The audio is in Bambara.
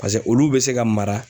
Paseke olu be se ka mara